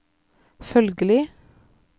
følgelig